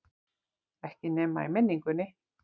Ekki nema í minningunni.